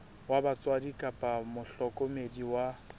wa batswadi kapa mohlokomedi wa